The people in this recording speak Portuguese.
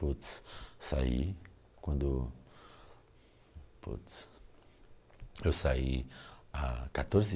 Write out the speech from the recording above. Putz, saí quando... Putz... Eu saí há quatorze